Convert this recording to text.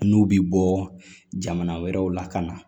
N'u bi bɔ jamana wɛrɛw la ka na